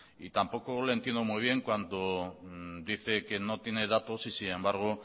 tampoco le entiendo muy bien cuando dice que no tiene datos y sin embargo